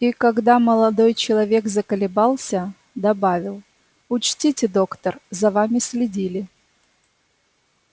и когда молодой человек заколебался добавил учтите доктор за вами следили